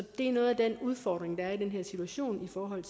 er noget af den udfordring der er i den her situation i forhold